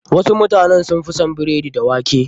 Wasu mutanen sun fi son biredi da wake.